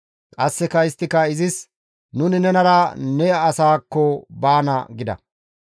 qasseka isttika izis, «Nuni nenara ne asaakko baana» gida.